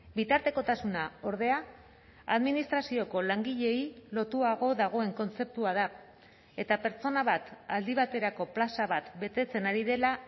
bitartekotasuna ordea administrazioko langileei lotuago dagoen kontzeptua da eta pertsona bat aldi baterako plaza bat betetzen ari dela